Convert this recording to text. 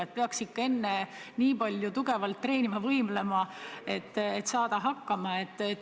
Enne peaks ikka palju tugevalt treenima, võimlema, et hakkama saada.